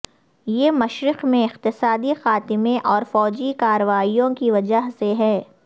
یہ مشرق میں اقتصادی خاتمے اور فوجی کارروائیوں کی وجہ سے ہے